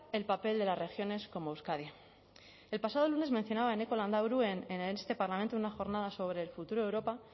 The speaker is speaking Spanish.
el papel de las regiones como euskadi el pasado lunes mencionaba eneko landaburu en este parlamento en una jornada sobre el futuro de europa